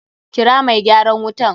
Kira mai gyaran wutan!